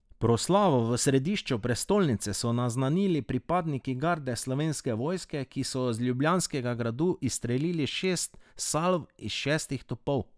Proslavo v središču prestolnice so naznanili pripadniki garde Slovenske vojske, ki so z Ljubljanskega gradu izstrelili šest salv iz šestih topov.